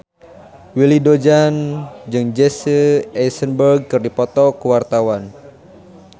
Willy Dozan jeung Jesse Eisenberg keur dipoto ku wartawan